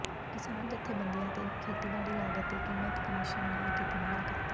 ਕਿਸਾਨ ਜਥੇਬੰਦੀਆਂ ਨੇ ਖੇਤੀਬਾੜੀ ਲਾਗਤ ਤੇ ਕੀਮਤ ਕਮਿਸ਼ਨ ਨਾਲ ਕੀਤੀ ਮੁਲਾਕਾਤ